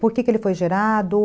Por que ele foi gerado?